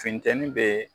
Funteni bee